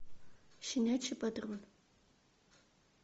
щенячий патруль